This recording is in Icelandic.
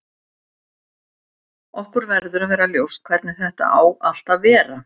Okkur verður að vera ljóst hvernig þetta á allt að vera.